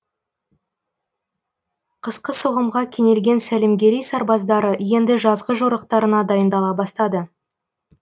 қысқы соғымға кенелген сәлімгерей сарбаздары енді жазғы жорықтарына дайындала бастады